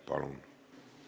Palun!